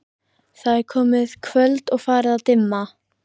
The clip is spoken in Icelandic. Það er komið kvöld og farið að dimma.